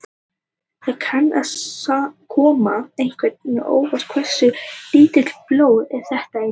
Það kann að koma einhverjum á óvart hversu lítið blóð þetta í raun er.